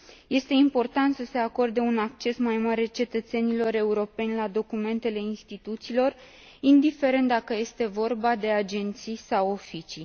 Este important să se acorde un acces mai mare cetățenilor europeni la documentele instituțiilor, indiferent dacă este vorba de agenții sau oficii.